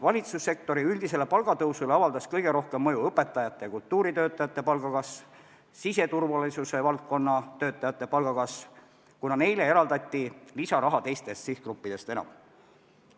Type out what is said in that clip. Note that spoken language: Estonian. Valitsussektori üldisele palgatõusule avaldas kõige rohkem mõju õpetajate ja kultuuritöötajate palga kasv ning siseturvalisuse valdkonna töötajate palga kasv, kuna neile eraldati lisaraha teistest sihtgruppidest enam.